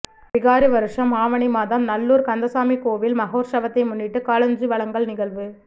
விகாரி வருஷம் ஆவணி மாதம் நல்லூர் கந்தசாமி கோவில் மகோற்சவத்தை முன்னிட்டு காளாஞ்சி வழங்கல் நிகழ்வு